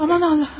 Aman Allahım.